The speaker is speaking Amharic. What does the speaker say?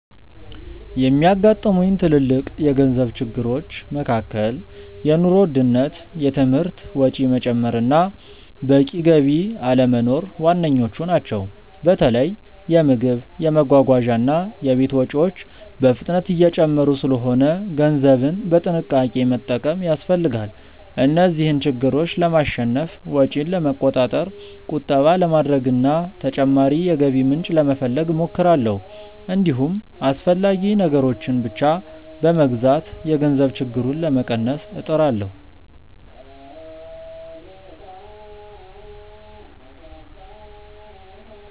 የሚያጋጥሙኝ ትልልቅ የገንዘብ ችግሮች መካከል የኑሮ ውድነት፣ የትምህርት ወጪ መጨመር እና በቂ ገቢ አለመኖር ዋነኞቹ ናቸው። በተለይ የምግብ፣ የመጓጓዣ እና የቤት ወጪዎች በፍጥነት እየጨመሩ ስለሆነ ገንዘብን በጥንቃቄ መጠቀም ያስፈልጋል። እነዚህን ችግሮች ለማሸነፍ ወጪን ለመቆጣጠር፣ ቁጠባ ለማድረግ እና ተጨማሪ የገቢ ምንጭ ለመፈለግ እሞክራለሁ። እንዲሁም አስፈላጊ ነገሮችን ብቻ በመግዛት የገንዘብ ችግሩን ለመቀነስ እጥራለሁ።